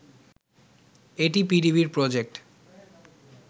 এটি পিডিবির প্রজেক্ট